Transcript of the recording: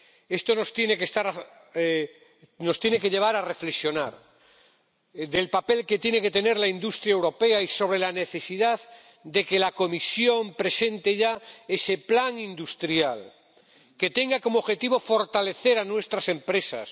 Esto nos tiene que llevar a reflexionar sobre el papel que tiene que tener la industria europea y sobre la necesidad de que la Comisión presente ya ese plan industrial que tenga como objetivo fortalecer a nuestras empresas